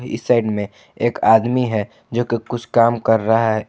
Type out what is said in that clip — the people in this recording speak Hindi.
इस साइड में एक आदमी है जो कि कुछ काम कर रहा है।